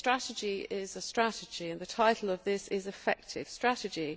A strategy is a strategy and the title of this report is an effective strategy'.